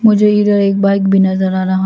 मुझे इधर एक बाइक भी नजर आ रहा।